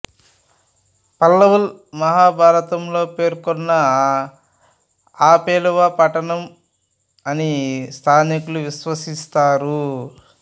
పల్వల్ మహాభారతంలో పేర్కొన్న అపేలవ పట్టణం అని స్థానికులు విశ్వసిస్తారు